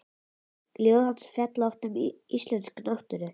Ljóð hans fjalla oft um íslenska náttúru.